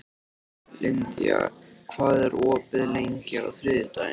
Lydia, hvað er opið lengi á þriðjudaginn?